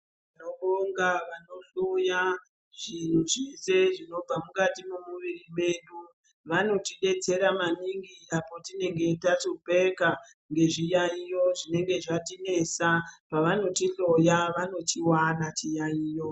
Tinobonga vanohloya zvinhu zvese zvinobva mukati memuviri medu. Vanotidetsera maningi apo tinenge tahlupheka ngezviyaiyo zvinenge zvatinesa. Pavanotihloya vanochiwana chiyayiyo.